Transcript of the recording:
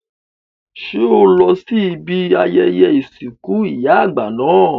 Ṣé o lọ sí ibi ayẹyẹ ìsìnkú ìyá àgbà náà?